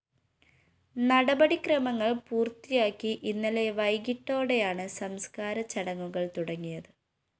നടപടി ക്രമങ്ങള്‍ പൂര്‍ത്തിയാക്കി ഇന്നലെ വൈകിട്ടോടെയാണ് സംസ്‌കാര ചടങ്ങുകള്‍ തുടങ്ങിയത്